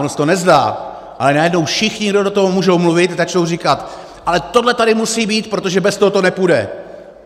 Ono se to nezdá, ale najednou všichni, kdo do toho můžou mluvit, začnou říkat: Ale tohle tady musí být, protože bez toho to nepůjde!